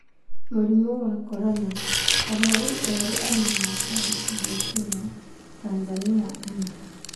Mũrimũ wa corona: arwaru erũ anana kwandĩkithio Kenya, Tanzania ana.